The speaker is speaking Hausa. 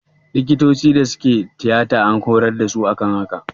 Likitocin da suke tiyata an hurar da su akan haka